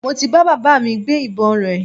Mo ti bá baba mi gbé ìbọn rẹ̀